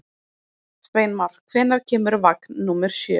Sveinmar, hvenær kemur vagn númer sjö?